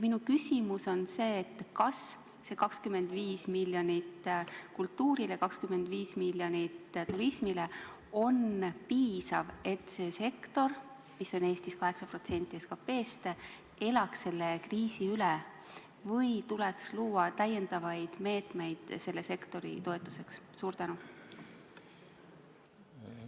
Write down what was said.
Minu küsimus on selline: kas 25 miljonit kultuurile ja 25 miljonit turismile on piisav, et see sektor, mis annab Eestis 8% SKT-st, elaks selle kriisi üle, või tuleks selle sektori toetuseks luua lisameetmeid?